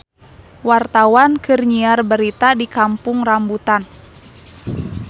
Wartawan keur nyiar berita di Kampung Rambutan